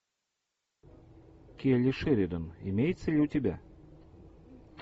келли шеридан имеется ли у тебя